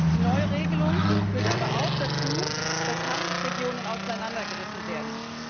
Die neue Regelung führt aber auch dazu, dass Handelsregionen auseinandergerissen werden.